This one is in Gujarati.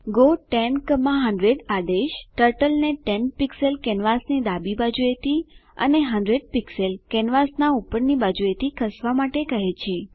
ગો 10100 આદેશ ટર્ટલને 10 પીક્ષલ કેનવાસની ડાબી બાજુએથી અને 100 પીક્ષલ કેનવાસનાં ઉપરની બાજુએથી ખસવા માટે કહે છે